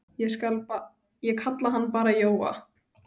Ég kalla hann bara Jóa.